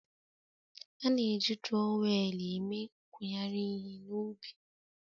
A na-eji turowelu eme nkuyari ihe na ubi